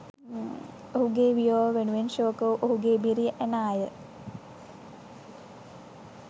ඔහුගේ වියෝව වෙනුවෙන් ශෝක වූ ඔහුගේ බිරිය ඇනාය